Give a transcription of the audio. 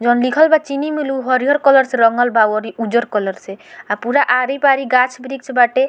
जौन लिखल बा चीनी मिल उ हरियर कलर से रंगल बा औरी उज्जर कलर से अ पूरा आरी-बारी गाछ-वृक्ष बाटे।